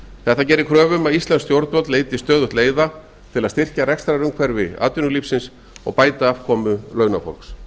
þetta gerir kröfu um að íslensk stjórnvöld leiti stöðugt leiða til að styrkja rekstrarumhverfi atvinnulífsins og bæta afkomu launafólks